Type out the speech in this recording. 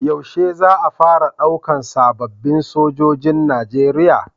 Yaushe za a fara ɗaukan sababin Sojojin nigeria?